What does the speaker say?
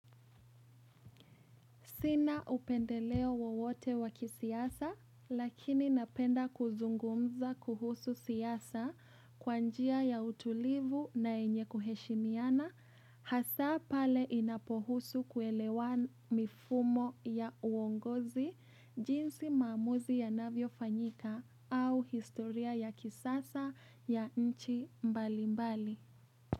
Sina upendeleo wowote wa kisiasa, lakini napenda kuzungumza kuhusu siasa kwa njia ya utulivu na yenye kuheshimiana, hasa pale inapohusu kuelewa mifumo ya uongozi, jinsi maamuzi yanavyo fanyika au historia ya kisasa ya nchi mbalimbali.